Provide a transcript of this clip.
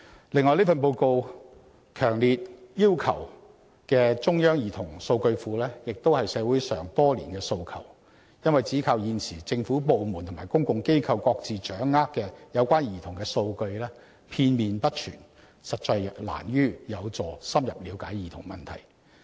此外，這份報告強烈要求設立中央兒童數據庫，亦是社會多年來的訴求，因為現時政府部門及公共機構各自掌握有關兒童的數據片面不全，實難有助深入了解兒童問題。